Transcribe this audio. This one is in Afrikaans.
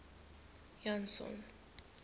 janson